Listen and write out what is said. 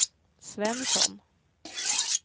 Svensson